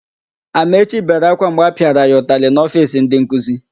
Amaechi bere ákwá mgbe a pịara ya ụtalị n'ofiisi ndịnkuzi.